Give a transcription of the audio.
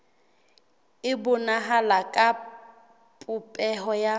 e bonahala ka popeho ya